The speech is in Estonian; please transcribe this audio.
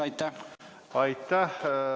Aitäh!